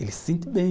Ele se sente bem.